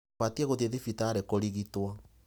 Ũbatiĩ gũthiĩ thibitarĩ kũrigitwo.